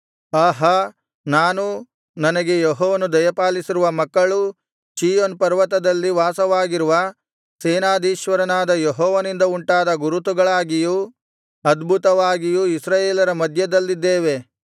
ಆಹಾ ನಾನೂ ನನಗೆ ಯೆಹೋವನು ದಯಪಾಲಿಸಿರುವ ಮಕ್ಕಳೂ ಚೀಯೋನ್ ಪರ್ವತದಲ್ಲಿ ವಾಸವಾಗಿರುವ ಸೇನಾಧೀಶ್ವರನಾದ ಯೆಹೋವನಿಂದ ಉಂಟಾದ ಗುರುತುಗಳಾಗಿಯೂ ಅದ್ಭುತಗಳಾಗಿಯೂ ಇಸ್ರಾಯೇಲರ ಮಧ್ಯದಲ್ಲಿದ್ದೇವೆ